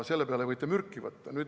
Selle peale võite mürki võtta.